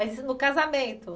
Isso no casamento?